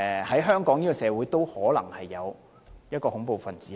在香港社會，也可能會有恐怖分子。